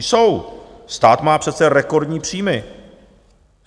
Jsou, stát má přece rekordní příjmy.